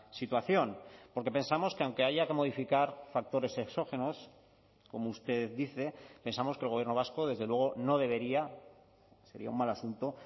situación porque pensamos que aunque haya que modificar factores exógenos como usted dice pensamos que el gobierno vasco desde luego no debería sería un mal asunto